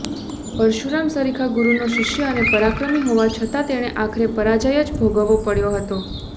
પરશુરામ સરીખા ગુરુનો શિષ્ય અને પરાક્રમી હોવા છતાં તેણે આખરે પરાજય જ ભોગવવો પડ્યો હતો